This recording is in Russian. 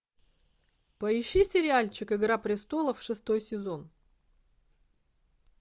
поищи сериальчик игра престолов шестой сезон